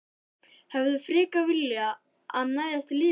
Þórir: Hefðir þú frekar viljað að hann næðist lifandi?